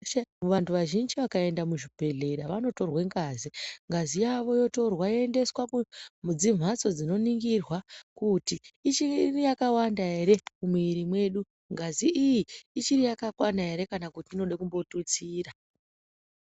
Vantu vazhinji vakaenda muzvibhedhleya vanotorwa ngazi, ngazi yavo yotorwa yoendeswe mudzimhatso dzinoningirwa kuti ichiri yakawanda ere mumwiri mwedu, ngazi iyi ichiri yakakwana ere kana kuti inode kumbotutsira.